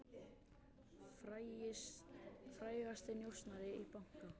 Frægasti njósnarinn í banka